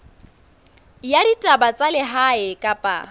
ya ditaba tsa lehae kapa